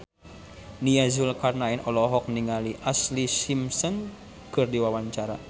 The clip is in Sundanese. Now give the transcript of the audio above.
Nia Zulkarnaen olohok ningali Ashlee Simpson keur diwawancara